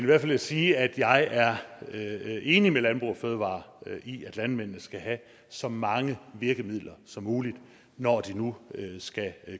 vil jeg sige at jeg er enig med landbrug fødevarer i at landmændene skal have så mange virkemidler som muligt når de nu skal